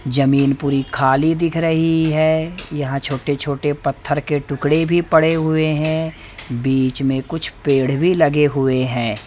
जमीन पूरी खाली दिख रही है यहां छोटे-छोटे पत्थर के टुकड़े भी पड़े हुए हैं बीच में कुछ पेड़ भी लगे हुए हैं।